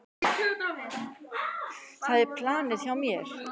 Það er planið hjá mér.